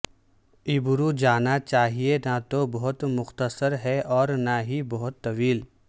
ابرو جانا چاہئے نہ تو بہت مختصر ہے اور نہ ہی بہت طویل